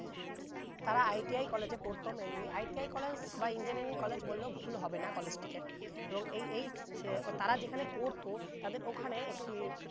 তারা ITI college এ পড়ত mainlyITIcollege বা engineering college বললে ভুল হবে না college টিকে এবং এ~ এই হচ্ছে তারা যেখানে পড়তো তাদের ওখানে একটি